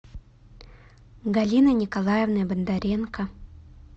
галиной николаевной бондаренко